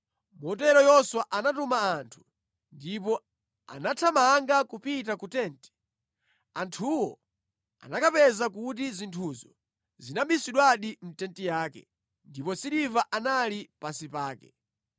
Motero Yoswa anatuma anthu, ndipo anathamanga kupita ku tenti. Anthuwo anakapeza kuti zinthuzo zinabisidwadi mʼtenti yake, ndipo siliva analidi pansi pake.